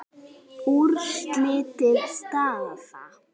Úrslit og staða